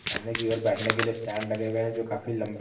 सामने की ओर बैठने के लिए स्टैंड लगे हुए हैं जो काफी लंबे--